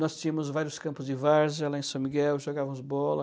Nós tínhamos vários campos de várzea lá em São Miguel, jogávamos bola.